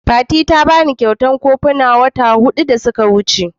Fati ta bani kyautan kofuna wata huɗu da ta wuce.